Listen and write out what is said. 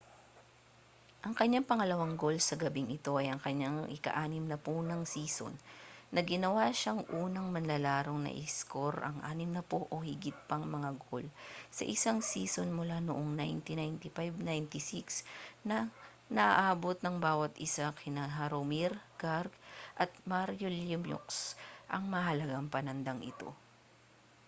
ang kaniyang pangalawang goal sa gabing ito ay ang kaniyang ika-60 ng season na ginawa siyang unang manlalarong nakaiskor ng 60 o higit pang mga goal sa isang season mula noong 1995-96 nang naabot ng bawa't isa kina jaromir jagr at mario lemieux ang mahalagang panandang ito